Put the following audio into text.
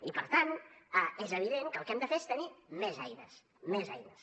i per tant és evident que el que hem de fer és tenir més eines més eines